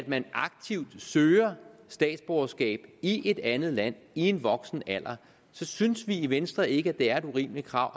man aktivt søger statsborgerskab i et andet land i en voksenalder synes vi i venstre ikke at det er et urimeligt krav